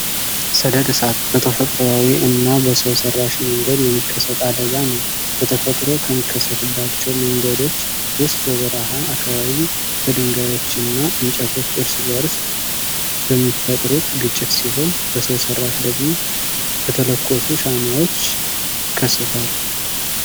ሰደድ እሳት በተፈጥሯዊ እና በሰው ሰራሽ መንገድ የሚከሰት አደጋ ነው። በተፈጥሮ ከሚከሰትባቸው መንገዶች ውስጥ በበረሃ አካባቢ በድንጋዬች እና እንጨቶች እርስ በርስ በሚፈጥሩት ግጭት ሲሆን በሰው ሰራሽ ደግሞ በተለኮሱ ሻማዎች ይከሰታል።